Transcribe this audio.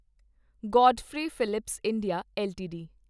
Godfrey Phillips India LTD